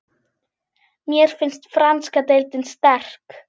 Mér finnst franska deildin sterk.